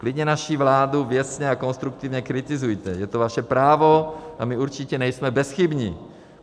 Klidně naši vládu věcně a konstruktivně kritizujte, je to vaše právo a my určitě nejsme bezchybní.